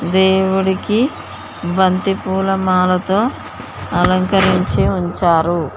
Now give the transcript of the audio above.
దేవుడికి బంతిపూల మాలతో అలంకరించి ఉంచారు.